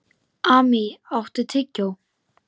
Amý, áttu tyggjó?